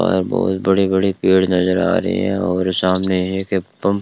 और बहोत बड़े बड़े पेड़ नजर आ रहे हैं और सामने एक पंप --